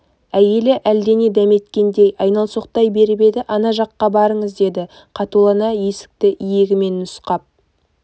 әйелі әлдене дәметкендей айналсоқтай беріп еді ана жаққа барыңыз деді қатулана есікті иегімен нұсқап